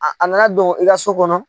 A a nana don i ka so kɔnɔ.